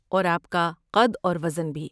اور آپ کا قد اور وزن بھی۔